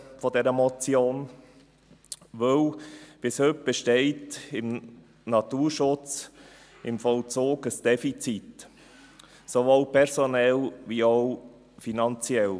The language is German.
Bis heute besteht beim Vollzug des Naturschutzes ein Defizit, sowohl personell als auch finanziell.